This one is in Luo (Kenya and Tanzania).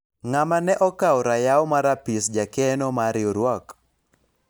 ng'ama ne okawo rayaw mar apis jakeno mar riwruok ?